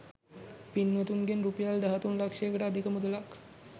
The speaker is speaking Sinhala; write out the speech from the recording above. පින්වතුන්ගෙන් රුපියල් දහතුන් ලක්ෂයකට අධික මුදලක්